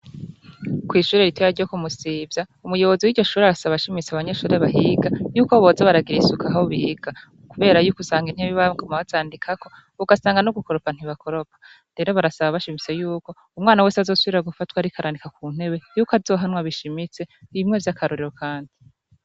Kw'ishure ritoya ryo ku Musivya, umuyobozi wiryo shure arasaba ashimitse abanyeshure bahiga yuko boza baragira isuku aho biga, kubera yuko usanga intebe baguma bazandikako, ugasanga no gukoroka ntibakoropa, rero barasaba bashimitse yuko umwana wese azosubira gufatwa ariko arandika ku ntebe yuko azohanwa bishimitse bimwe vy'akarorero kandi.